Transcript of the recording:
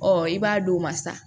Ɔ i b'a d'o ma sa